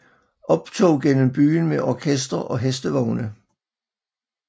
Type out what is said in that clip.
Optog gennem byen med orkester og hestevogne